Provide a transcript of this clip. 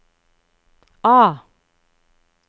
A